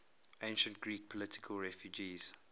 ancient greek political refugees